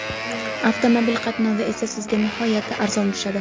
Avtomobil qatnovi esa sizga nihoyatda arzon tushadi.